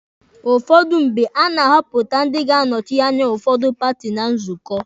Ụfọdụ mgbe, na-ahọpụta ndị ga-anọsị anya ụfọdụ paati na nzukọ.